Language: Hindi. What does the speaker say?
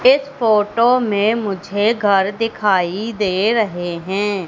इस फोटो में मुझे घर दिखाई दे रहे हैं।